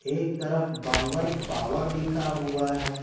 एक तरफ बांगर पावर लिखा हुआ है।